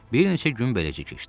Bir neçə gün beləcə keçdi.